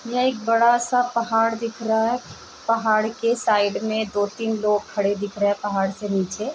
यह एक बड़ा सा पहाड़ दिख रहा है । पहाड़ के साइड में दो तीन लोग खड़े दिख रहे हैं पहाड़ से नीचे |